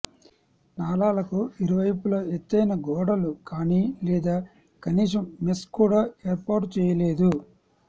నాలాలకు ఇరువైపుల ఎత్తైన గోడలు కానీ లేదా కనీసం మెష్ కూడా ఏర్పాటు చేయలేదు